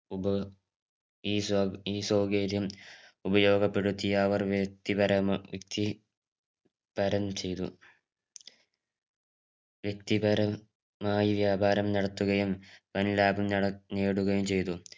ഉപ ഈ സ്വ ഈ സ്വകര്യം ഉപയോഗപെടുത്തിയവർ വ്യക്തിപരമാ വ്യക്തി പരം ചെയ്തു വ്യക്തിപരമായി വ്യാപാരം നടത്തുകയും വൻ ലാഭം നട നേടുകയും ചെയ്തു